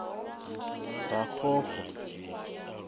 raxoxo